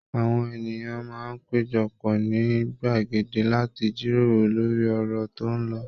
Àwọn ènìyàn máa ń péjọ pọ̀ ní gbàgede láti jíròrò lórí ọ̀rọ̀ tó ń lọ